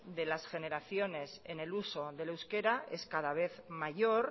de las generaciones en el uso del euskera es cada vez mayor